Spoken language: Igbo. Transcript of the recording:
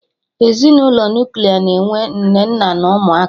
Ezinụlọ Nuklia na-enwe Nne, nna na ụmụaka